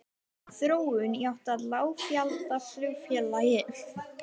Þróun í átt að lággjaldaflugfélagi?